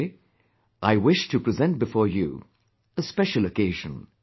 But today, I wish to present before you a special occasion